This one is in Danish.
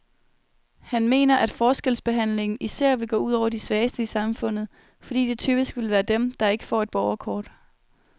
Han mener, at forskelsbehandlingen især vil gå ud over de svageste i samfundet, fordi det typisk vil være dem, der ikke får et borgerkort.